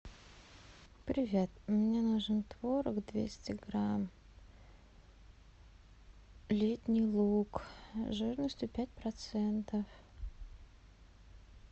привет мне нужен творог двести грамм летний луг жирностью пять процентов